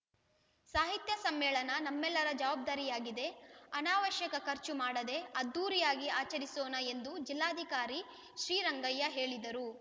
ಸಾಹಿತ್ಯ ಸಮ್ಮೇಳನ ನಮ್ಮೆಲ್ಲರ ಜವಾಬ್ದಾರಿಯಾಗಿದೆ ಅನಾವಶ್ಯಕ ಖರ್ಚು ಮಾಡದೇ ಅದ್ದೂರಿಯಾಗಿ ಆಚರಿಸೋಣ ಎಂದು ಜಿಲ್ಲಾಧಿಕಾರಿ ಶ್ರೀರಂಗಯ್ಯ ಹೇಳಿದರು